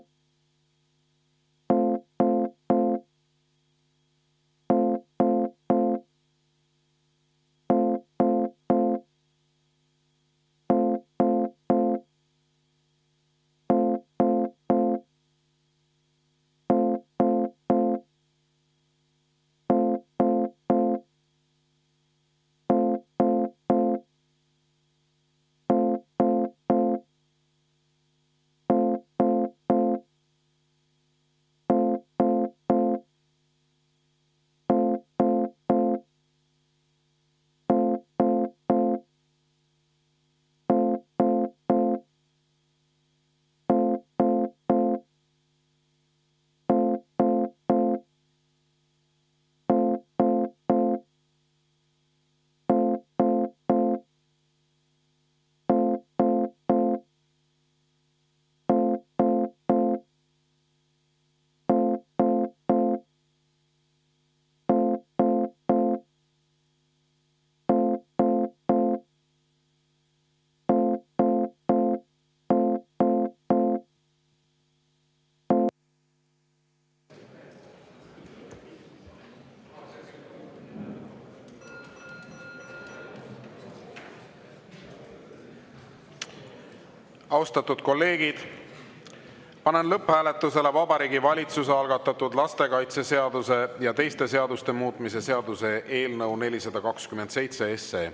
Austatud kolleegid, panen lõpphääletusele Vabariigi Valitsuse algatatud lastekaitseseaduse ja teiste seaduste muutmise seaduse eelnõu 427.